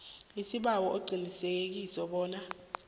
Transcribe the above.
sibawa uqinisekise bona